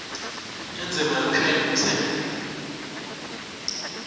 indzima ekushayeni umtsetfo